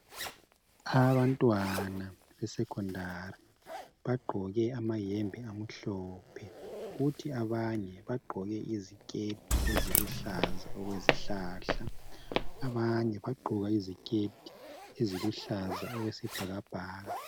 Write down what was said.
abantwana be secondary bagqoke amayembe amhlophe kuthi abanye bagqoke iziketi eziluhlaza okwezihlahla abanye bagqoke iziketi eziluhlaza okwesibhakabhaka